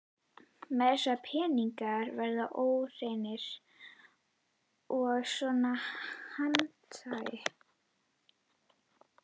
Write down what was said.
Meira að segja peningar verða óhreinir í svona hanaati.